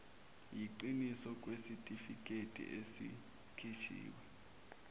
yiqiniso kwesitifiketi esikhishiwe